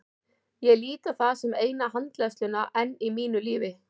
Ég lít á það sem eina handleiðsluna enn í mínu lífi.